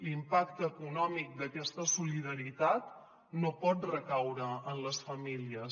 l’impacte econòmic d’aquesta solidaritat no pot recaure en les famílies